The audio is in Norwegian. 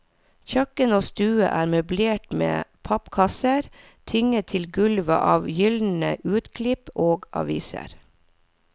Kjøkken og stue er møblert med pappkasser tynget til gulvet av gulnede utklipp og aviser.